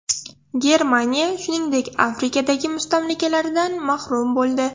Germaniya, shuningdek, Afrikadagi mustamlakalaridan mahrum bo‘ldi.